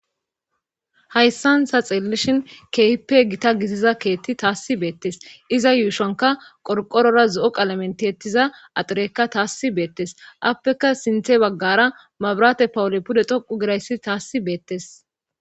hayssan ta xeellishin keehippe gita gissiza keetti taassi beettes iza yuushanka qorqorora zo7oqalamenti ettiza axireekka taassi beettes appeka sinthe baggara mabraate pawole pude thoqu girayssi taassi beettes